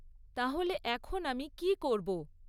তাহলে এখন আমি কী করব?